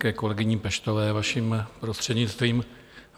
Ke kolegyni Peštové, vaším prostřednictvím.